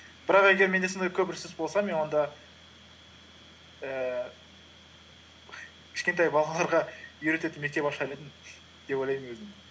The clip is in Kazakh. бірақ егер менде сондай көп ресурс болса мен онда ііі кішкентай балаларға үйрететін мектеп ашар едім деп ойлаймын өзімді